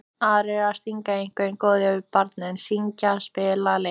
Aðrir að stinga einhverju góðu að barni, syngja, spila, leika.